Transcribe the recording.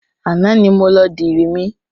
Àná ni mo lọ dirí mi.